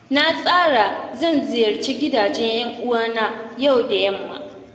Na tsara zan ziyararci gidajen ƴan uwana yau da yamma.